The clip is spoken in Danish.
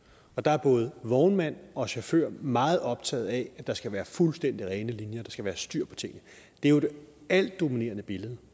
og der er både vognmænd og chauffører meget optaget af at der skal være fuldstændig rene linjer der skal være styr på tingene det er jo det altdominerende billede